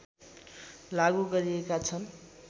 लागू गरिएका छन्